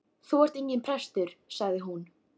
Þú ert enginn prestur, sagði hún.